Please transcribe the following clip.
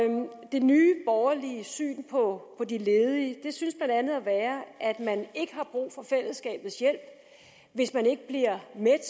det nye borgerlige syn på de ledige synes blandt andet at være at man ikke har brug for fællesskabets hjælp hvis man ikke bliver mæt